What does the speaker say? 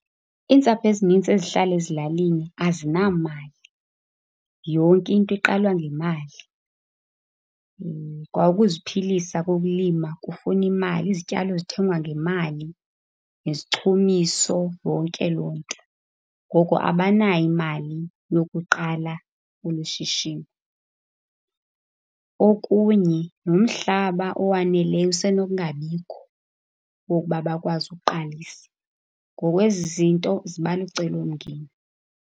Iintsapho ezinintsi ezihlala ezilalini ezinamali. Yonke into iqalwa ngemali, kwa ukuziphilisa kokulima kufuna imali. Izityalo zithengwa ngemali, nezichumiso, yonke loo nto. Ngoko abanayo imali yokuqala olu shishini. Okunye nomhlaba owaneleyo usenokungabikho, wokuba bakwazi ukuqalisa. Ngoku ezi zinto ziba lucelomngeni.